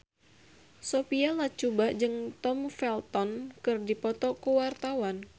Sophia Latjuba jeung Tom Felton keur dipoto ku wartawan